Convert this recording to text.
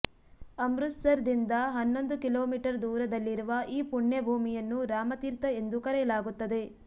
ಅಮೃತಸರ್ ದಿಂದ ಹನ್ನೊಂದು ಕಿಲೋಮೀಟರ್ ದೂರದಲ್ಲಿರುವ ಈ ಪುಣ್ಯ ಭೂಮಿಯನ್ನು ರಾಮತೀರ್ಥ ಎಂದು ಕರೆಯಲಾಗುತ್ತದೆ